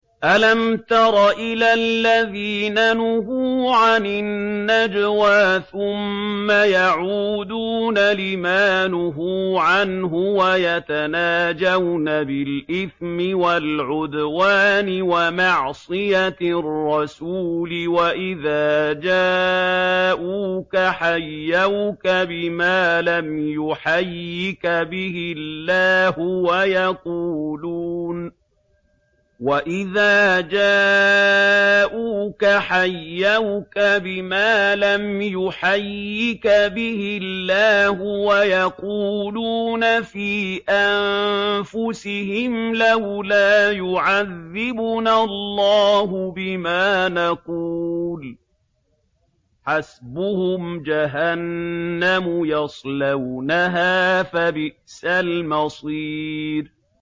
أَلَمْ تَرَ إِلَى الَّذِينَ نُهُوا عَنِ النَّجْوَىٰ ثُمَّ يَعُودُونَ لِمَا نُهُوا عَنْهُ وَيَتَنَاجَوْنَ بِالْإِثْمِ وَالْعُدْوَانِ وَمَعْصِيَتِ الرَّسُولِ وَإِذَا جَاءُوكَ حَيَّوْكَ بِمَا لَمْ يُحَيِّكَ بِهِ اللَّهُ وَيَقُولُونَ فِي أَنفُسِهِمْ لَوْلَا يُعَذِّبُنَا اللَّهُ بِمَا نَقُولُ ۚ حَسْبُهُمْ جَهَنَّمُ يَصْلَوْنَهَا ۖ فَبِئْسَ الْمَصِيرُ